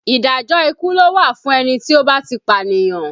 Ìdájọ́ ikú ló wà fún ẹni tí ó bá ti pànìyàn